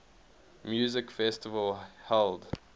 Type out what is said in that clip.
music festival held